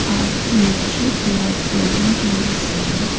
a masjid like building can be seen.